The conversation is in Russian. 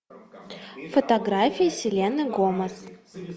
фотографии селены гомес